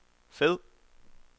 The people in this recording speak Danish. fed